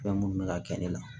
Fɛn minnu bɛ ka kɛ ne la